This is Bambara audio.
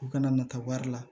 U kana na taa wari la